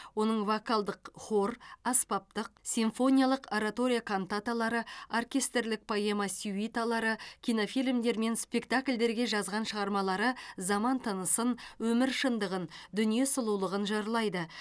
оның вокалдық хор аспаптық симфониялық оратория кантаталары оркестрлік поэма сюиталары кинофильмдер мен спектакльдерге жазған шығармалары заман тынысын өмір шындығын дүние сұлулығын жырлайды